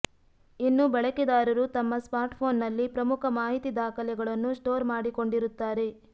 ಇನ್ನು ಬಳಕೆದಾರರು ತಮ್ಮ ಸ್ಮಾರ್ಟ್ಫೋನ್ನಲ್ಲಿ ಪ್ರಮುಖ ಮಾಹಿತಿ ದಾಖಲೆಗಳನ್ನು ಸ್ಟೋರ್ ಮಾಡಿಕೊಂಡಿರುತ್ತಾರೆ